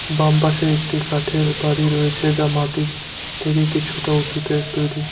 বাম পাশে একটি কাঠের বাড়ি রয়েছে যা মাটির থেকে কিছুটা উঁচুতে তৈরি।